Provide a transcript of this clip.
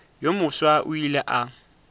yo mofsa o ile a